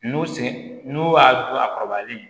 N'u sen n'u y'a kɔrɔbayalen